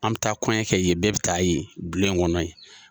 An bi taa kɔɲɔn kɛ yen, bɛɛ be taa yen bulon in kɔnɔ yen.